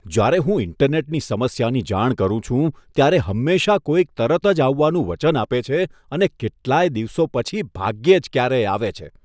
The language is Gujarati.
જ્યારે હું ઈન્ટરનેટની સમસ્યાની જાણ કરું છું ત્યારે હંમેશા કોઈક તરત જ આવવાનું વચન આપે છે અને કેટલાય દિવસો પછી ભાગ્યે જ ક્યારેય આવે છે.